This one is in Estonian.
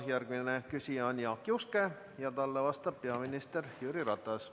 Järgmine küsija on Jaak Juske ja talle vastab peaminister Jüri Ratas.